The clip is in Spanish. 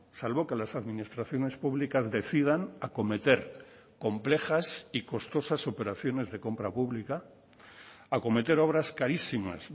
salvo que las administraciones públicas decidan acometer complejas y costosas operaciones de compra pública acometer obras carísimas